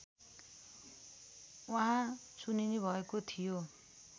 उहाँ चुनिनुभएको थियो